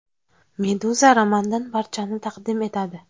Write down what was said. Meduza romandan parchani taqdim etadi.